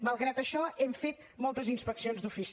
malgrat això hem fet moltes inspeccions d’ofici